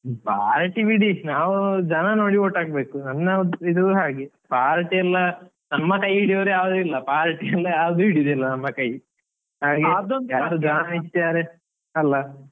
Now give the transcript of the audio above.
Party ಬಿಡಿ, ನಾವು ಜನ ನೋಡಿ vote ಹಾಕ್ಬೇಕು, ನನ್ನ ಇದು ಹಾಗೆ party ಎಲ್ಲಾ ನಮ್ಮ ಕೈ ಹಿಡಿಯುವವರು ಯಾರು ಇಲ್ಲಾ party ಎಲ್ಲ ಯಾವುದು ಹಿಡಿಯುವುದಿಲ್ಲ ನಮ್ಮ ಕೈ ಹಾಗೇ. ಅಲ್ಲಾ?